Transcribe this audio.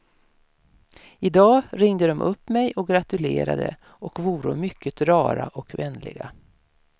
Idag ringde de upp mig och gratulerade och voro mycket rara och vänliga.